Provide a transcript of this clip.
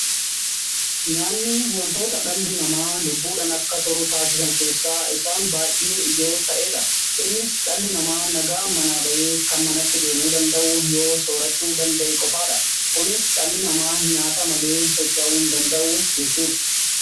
nyaanni wantoota dhalli namaa lubbuudhan akka turu taasisan keessaa isaan baay'ee ijoo ta'eedha. innis dhalli namaa nagaan manaa bahee kan manatti deebi'uu danda'u yoo soorachuu danda'e qofaadha. kunis dhalli namaa nyaata malee socha'uu hin danda'u jechuudha.